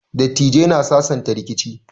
Dattijai na sasanta rikici.